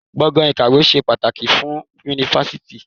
Gbọ̀gàn ìkàwé ṣe pàtàkì fún Yunifásítì.